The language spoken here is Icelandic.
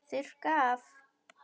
Þurrka af.